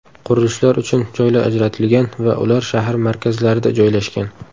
Qurilishlar uchun joylar ajratilgan va ular shahar markazlarida joylashgan.